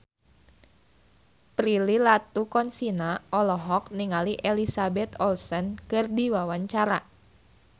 Prilly Latuconsina olohok ningali Elizabeth Olsen keur diwawancara